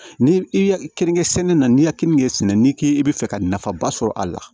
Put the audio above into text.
Ni i ya keninke sɛnɛ na n'i ye kenige sɛnɛ n'i k'i bɛ fɛ ka nafaba sɔrɔ a la